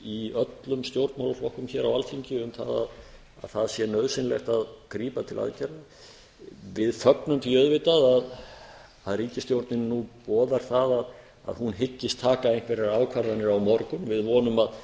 í öllum stjórnmálaflokkum hér á alþingi um að það sé nauðsynlegt að grípa til aðgerða við fögnum því auðvitað að ríkisstjórnin boðar það að hún hyggist taka einhverjar ákvarðanir á morgun við vonum að